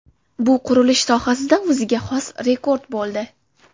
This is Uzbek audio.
Bu qurilish sohasida o‘ziga xos rekord bo‘ldi.